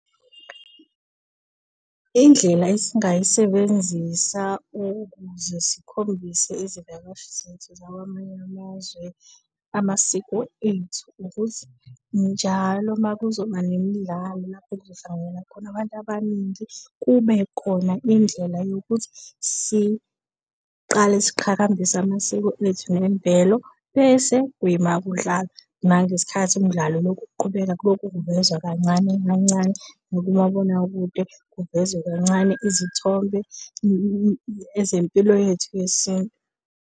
Indlela esingayisebenzisa ukuze sikhombise izivakashi zethu zakwamanye amazwe amasiko ethu ukuthi, njalo makuzoba nemidlalo lapho kuzo hlanganyela khona abantu abaningi, kube khona indlela yokuthi siqale siqhakambise amasiko ethu nemvelo bese kuyima kudlalwa. Ngale sikhathi umdlalo ulokhu uqhubeka kuloke kuvezwa kancane kancane nakumabonakude kuvezwe kancane izithombe ezempilo yethu yesintu.